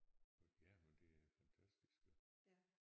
Og ja men det er fantastisk jo